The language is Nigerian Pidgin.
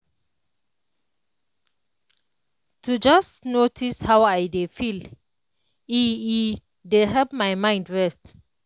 to just notice how i dey feel e e dey help my mind rest.